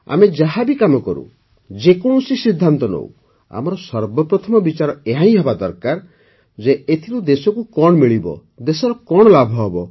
ଆମେ ଯାହା ବି କାମ କରୁ ଯେକୌଣସି ସିଦ୍ଧାନ୍ତ ନେଉ ଆମର ସର୍ବପ୍ରଥମ ବିଚାର ଏହାହିଁ ହେବା ଦରକାର ଯେ ଏଥିରୁ ଦେଶକୁ କଣ ମିଳିବ ଦେଶର କଣ ଲାଭ ହେବ